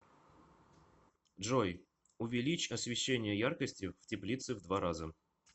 джой увеличь освещение яркости в теплице в два раза